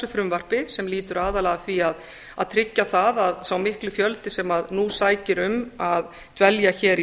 frumvarpi sem lýtur aðallega að því að tryggja það að sá mikli fjöldi sem nú sækir um að dvelja hér í